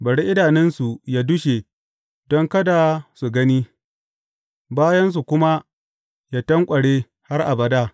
Bari idanunsu yă dushe don kada su gani, bayansu kuma yă tanƙware har abada.